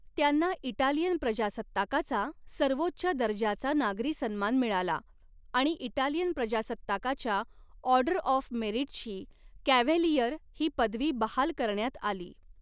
त्यांना इटालियन प्रजासत्ताकाचा सर्वोच्च दर्जाचा नागरी सन्मान मिळाला आणि इटालियन प्रजासत्ताकाच्या 'ऑर्डर ऑफ मेरिट'ची 'कॅव्हॅलिअर' ही पदवी बहाल करण्यात आली.